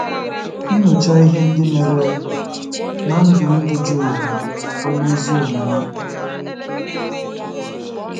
Nyochaa ihe ndị mere ná ndụ ndụ Job onye ezi omume.